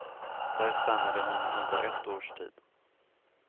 Där stannade hon under ett års tid.